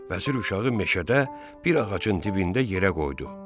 Vəzir uşağı meşədə bir ağacın dibində yerə qoydu.